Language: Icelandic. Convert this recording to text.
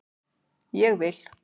Ég vil